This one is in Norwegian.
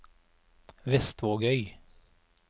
Vestvågøy